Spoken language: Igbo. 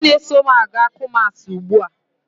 Onye na-eso m aga kumasi ugbua?